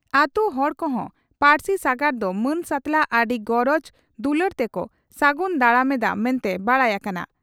ᱟᱹᱛᱩ ᱦᱚᱲ ᱠᱚᱦᱚᱸ ᱯᱟᱹᱨᱥᱤ ᱥᱟᱜᱟᱲ ᱫᱚ ᱢᱟᱹᱱ ᱥᱟᱛᱞᱟᱜ ᱟᱹᱰᱤ ᱜᱚᱨᱚᱡᱽ ᱫᱩᱞᱟᱹᱲ ᱛᱮᱠᱚ ᱥᱟᱹᱜᱩᱱ ᱫᱟᱨᱟᱢ ᱮᱫᱼᱟ ᱢᱮᱱᱛᱮ ᱵᱟᱰᱟᱭ ᱟᱠᱟᱱᱟ ᱾